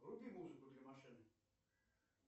вруби музыку для машины